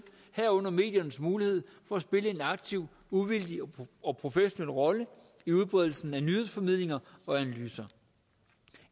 herunder mediernes mulighed for at spille en aktiv uvildig og professionel rolle i udbredelsen af nyhedsformidlinger og analyser